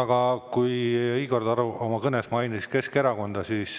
Aga kuna Igor Taro oma kõnes mainis Keskerakonda, siis,